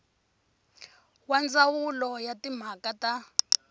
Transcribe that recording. wa ndzawulo ya timhaka ta